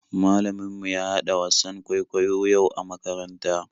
Malamin mu ya haɗa wasan kwaikwayo yau a makaranta.